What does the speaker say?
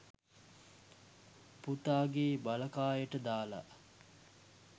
පුතාගේ බලකායට දාලා